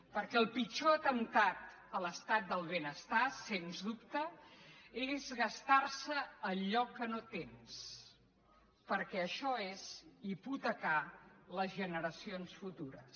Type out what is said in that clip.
perquè el pitjor atemptat a l’estat del benestar sens dubte és gastar se allò que no tens perquè això és hipotecar les generacions futures